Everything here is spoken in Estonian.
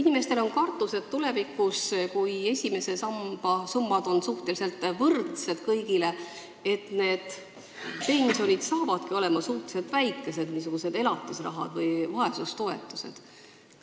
Inimestel on kartus, et tulevikus, kui esimese samba summad on kõigil suhteliselt võrdsed, saavad pensionid olema väga väikesed, rohkem nagu elatisrahad või vaesustoetused.